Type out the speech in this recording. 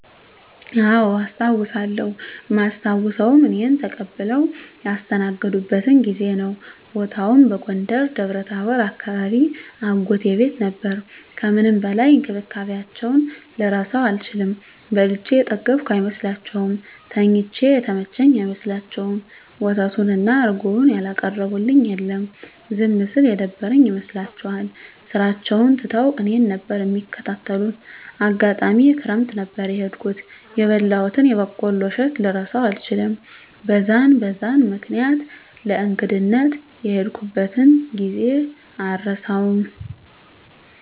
አዎ አስታዉሳለው እማስታዉሰዉም እኔን ተቀብለዉ ያስተናገዱበትን ጊዜ ነዉ። ቦታዉም በጎንደር ደብረታቦር አካባቢ አጎቴ ቤት ነበር ከምንም በላይ እንክብካቤያቸዉን ልረሳዉ አልችልም። በልቼ የጠገብኩ አይመስላቸዉም፣ ተኝቼ የተመቸኝ አይመስላቸዉም፣ ወተቱን እና እረጎዉን ያላቀረቡልኝ የለም። ዝም ስል የደበረኝ ይመስላቸዋል ስራቸዉን ትተዉ እኔን ነበር እሚንከባከቡት፣ አጋጣሚ ክረምት ነበር የሄድኩት የበላሁትን የበቆሎ እሸት ልረሳዉ አልችልም። በዛን በዛን ምክኒያት ለእንግድነት የሄድኩበትን ጊዜ አረሳዉም።